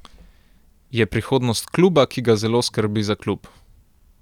Je prihodnost kluba, ki ga zelo skrbi za klub.